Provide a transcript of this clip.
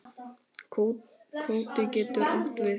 Kvóti getur átt við